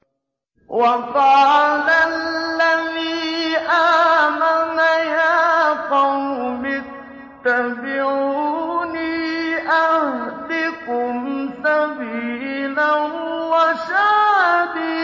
وَقَالَ الَّذِي آمَنَ يَا قَوْمِ اتَّبِعُونِ أَهْدِكُمْ سَبِيلَ الرَّشَادِ